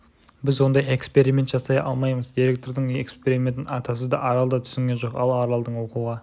біз ондай эксперимент жасай алмаймыз директордың экспериментін атасы да арал да түсінген жоқ ал аралдың оқуға